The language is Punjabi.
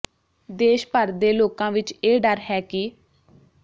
ਦੇਸ਼ ਭਰ ਦੇ ਲੋਕਾਂ ਵਿੱਚ ਇਹ ਡਰ ਹੈ ਕਿ